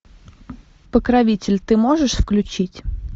покровитель ты можешь включить